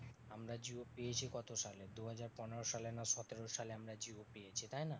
আমরা জিও পেয়েছি কত সালে? দুহাজার পনেরো সালে না সতেরো সালে আমরা জিও পেয়েছি তাই না?